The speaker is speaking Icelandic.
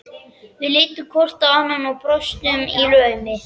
Við litum hvort á annað og brostum í laumi.